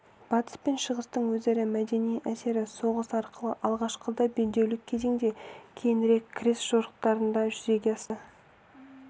батыс пен шығыстың өзара мәдени әсері соғыс арқылы алғашқыда белдеулік кезенде кейінірек крест жорықтарында жүзеге асты